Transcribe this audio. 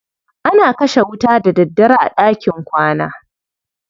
ana kashe wuta da daddare a ɗakin kwana.